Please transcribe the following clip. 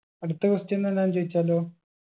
അടുത്ത question എന്നാ ഞാൻ ചോയിച്ചാലോ